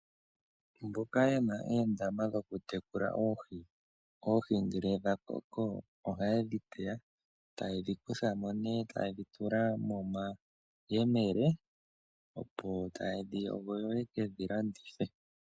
Mboka ye na oondama dhokutekula oohi, oohi ngele dha koko ohaye dhi kutha mo nee taye dhi tula momayemele, opo taye dhi yogo yo ye ke dhi landithe.